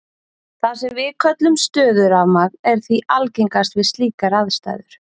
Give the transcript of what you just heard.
Það sem við köllum stöðurafmagn er því algengast við slíkar aðstæður.